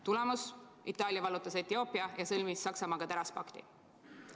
Tulemus: Itaalia vallutas Etioopia ja sõlmis Saksamaaga teraspakti.